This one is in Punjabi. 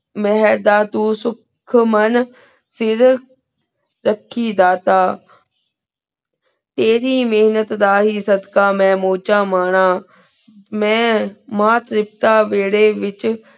ਮੇਹੇਰ ਦਾ ਤੂੰ ਸੁਖ ਮੇਨ ਫੇਰ ਚਾਖੀ ਦਾਤਾ ਤੇਰੀ ਮੇਹਨਤ ਦਾ ਹੀ ਸਦਕਾ ਮੈਂ ਮੁਜੇਨ ਮਨਾ ਮਨ ਮਾਨ ਸੇਸਤਾ ਦੀ ਵੇਰੀ ਵੇਚ